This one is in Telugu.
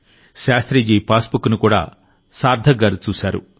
శాస్త్రి జీ పాస్బుక్ను కూడా సార్థక్ గారుచూశారు